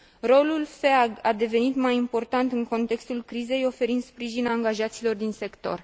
Rolul FEAG a devenit mai important în contextul crizei, oferind sprijin angajaților din sector.